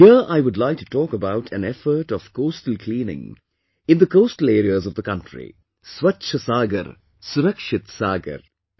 Here I would like to talk about an effort of Coastal Cleaning in the coastal areas of the country 'Swachh Sagar Surakshit Sagar'